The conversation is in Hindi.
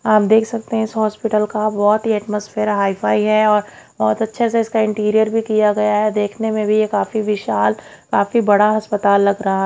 आप देख सकते हैं इस हॉस्पिटल का बहुत ही एटमॉस्फेयर हाई फाई है और बहुत अच्छे से इसका इंटीरियर भी किया गया है देखने में भी ये काफी विशाल काफी बड़ा अस्पताल लग रहा--